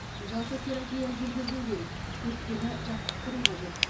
жалпы терапия жүргізу керек өкпені жаттықтыру қажет